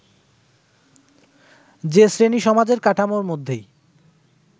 যে শ্রেণীসমাজের কাঠামোর মধ্যেই